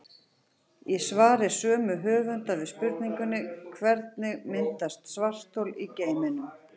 Í svari sömu höfunda við spurningunni Hvernig myndast svarthol í geimnum?